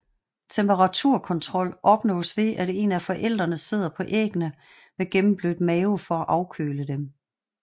Temperaturkontrol opnås ved at en af forældrene sidder på æggene med gennemblødt mave for at afkøle dem